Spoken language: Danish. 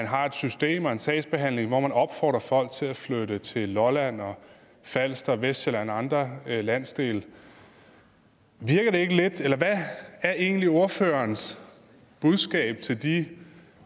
har et system og en sagsbehandling hvor opfordrer folk til at flytte til lolland og falster og vestsjælland og andre landsdele hvad er egentlig ordførerens budskab til de